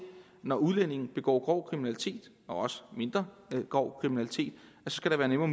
når udlændinge begår grov kriminalitet og også mindre grov kriminalitet skal være nemmere